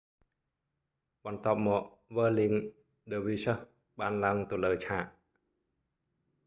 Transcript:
បន្ទាប់មក វើលលីង ឌើរវីស្ហឹស whirling dervishes បានឡើងទៅលើឆាក